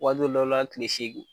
Waati dɔw la tile segi